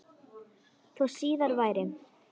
Þó síðar væri.